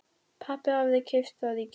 Pabbi hafði keypt það í gær.